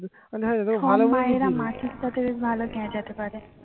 মাসির সাথে ভালোবেসে গ্যাজাতে পারে